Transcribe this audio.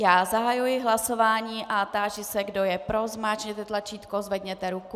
Já zahajuji hlasování a táži se, kdo je pro, zmáčkněte tlačítko, zvedněte ruku.